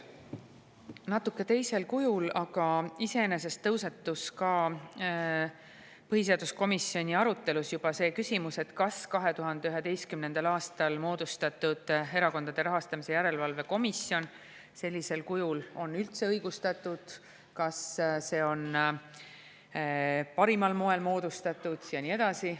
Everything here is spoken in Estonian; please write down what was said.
Natuke teisel kujul, aga iseenesest tõusetus ka juba põhiseaduskomisjoni arutelus küsimus, kas 2011. aastal moodustatud Erakondade Rahastamise Järelevalve Komisjon sellisel kujul üldse on õigustatud, kas see on parimal moel moodustatud ja nii edasi.